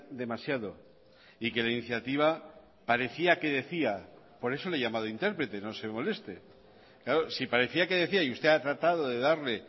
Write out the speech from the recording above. demasiado y que la iniciativa parecía que decía por eso le he llamado interprete no se moleste claro si parecía que decía y usted ha tratado de darle